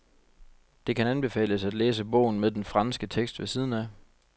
Det kan anbefales at læse bogen med den franske tekst ved siden af.